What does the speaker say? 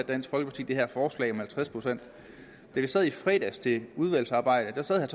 dansk folkeparti det her forslag om halvtreds procent da vi sad i fredags i udvalgsarbejdet sagde